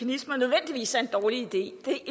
især en dårlig idé det